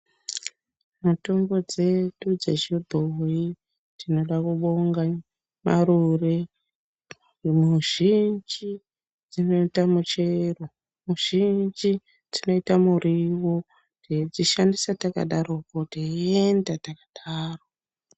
Mitombo dzedu dzechibhoyi tinoda kubonga marure. Muzhinji dzinoita muchero, muzhinji dzinoita muriwo techishandisa takadarokwo teienda takadaro.